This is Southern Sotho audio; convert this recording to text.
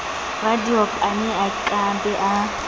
radiopane a ka be a